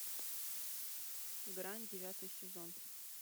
грань девятый сезон